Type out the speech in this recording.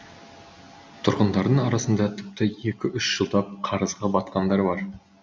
тұрғындардың арасында тіпті екі үш жылдап қарызға батқандар бар